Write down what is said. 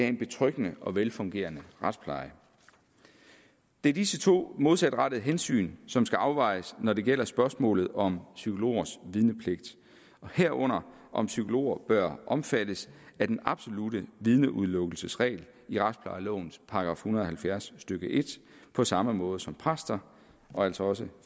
en betryggende og velfungerende retspleje det er disse to modsatrettede hensyn som skal afvejes når det gælder spørgsmålet om psykologers vidnepligt og herunder om psykologer bør omfattes af den absolutte vidneudelukkelsesregel i retsplejelovens § en hundrede og halvfjerds stykke en på samme måde som præster og altså også